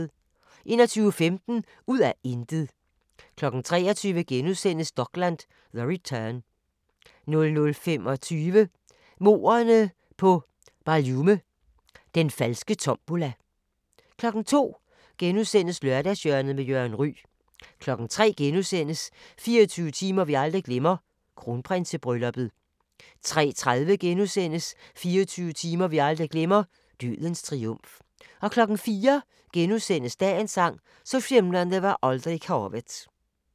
21:15: Ud af intet 23:00: Dokland: The Return * 00:25: Mordene på BarLume – Den falske tombola 02:00: Lørdagshjørnet med Jørgen Ryg * 03:00: 24 timer vi aldrig glemmer: Kronprinsebrylluppet * 03:30: 24 timer vi aldrig glemmer: Dødens triumf * 04:00: Dagens sang: Så skimrande var aldrig havet *